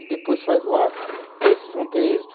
E depois faz o ato, porque aí vocês vão ter êxito.